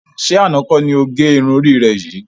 Ṣé àna kọ́ ni ó gẹ irun orí rẹ yìí?